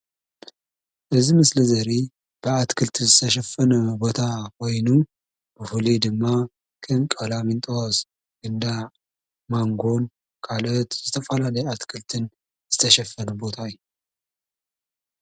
እዚ ምስሊ ዘርኢ ብኣትክልቲ ዝተሸፈነ ቦታ ኾይኑ ብፍሉይ ድማ ከም ቀላሚጦስ፣ እንዳ ማንጎን ካልኦት ዝተፈላለዩ ኣትክልትን ዝተሸፈነ ቦታ እዩ፡፡